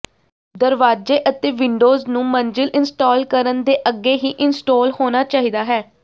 ਦਰਵਾਜ਼ੇ ਅਤੇ ਵਿੰਡੋਜ਼ ਨੂੰ ਮੰਜ਼ਿਲ ਇੰਸਟਾਲ ਕਰਨ ਦੇ ਅੱਗੇ ਹੀ ਇੰਸਟਾਲ ਹੋਣਾ ਚਾਹੀਦਾ ਹੈ